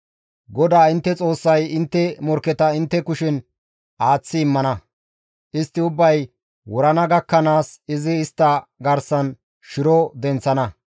GODAA intte Xoossay intte morkketa intte kushen aaththi immana; istti ubbay wurana gakkanaas izi istta garsan shiro denththana.